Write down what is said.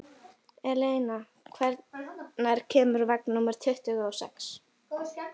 Eleina, hvenær kemur vagn númer tuttugu og sex?